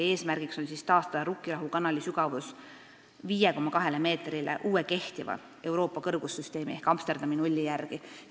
Eesmärk on taastada Rukkirahu kanali sügavus 5,2 meetrile uue kehtiva Euroopa kõrgussüsteemi ehk Amsterdami nulli järgi.